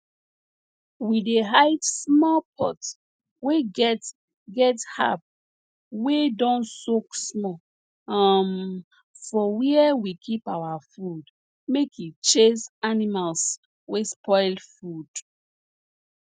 we dey hide small pot wey get get herb wey don soak small um for where we keep our food make e chase animals wey spoil food